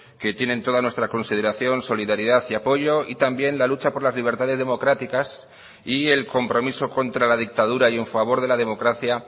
que tienen toda nuestra consideración solidaridad y apoyo y también la lucha por las libertades democráticas y el compromiso contra la dictadura y en favor de la democracia